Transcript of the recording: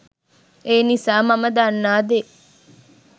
ඒ නිසා මම දන්නා දේ